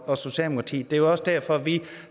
og socialdemokratiet det er også derfor at vi